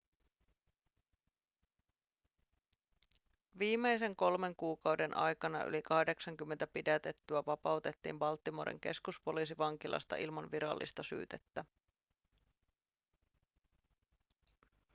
viimeisen kolmen kuukauden aikana yli 80 pidätettyä vapautettiin baltimoren keskuspoliisivankilasta ilman virallista syytettä